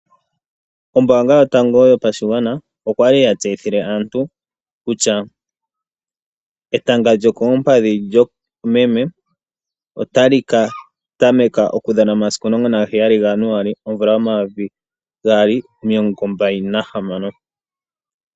Ombaanga yotango yopashigwana okwali yatseyithile aantu kutya etanga lyokolupadhi lyomeme otali ka tameka okudhana momasiku 17 Januaali 2026.